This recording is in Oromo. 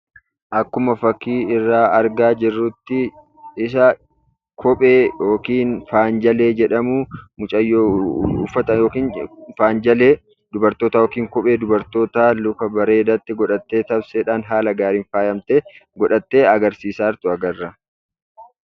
Akkuma fakkii irraa argaa jirrutti, bifa kophee yookiin faan- jalee jedhamu mucayyoo uffata yookiin faan jalee dubartoota yookiin kophee dubartoota luka bareedaatti godhattee kan taaksiidhaan haala gaariidhaan faayamtee godhattee agarsiisaa jirtu agarra.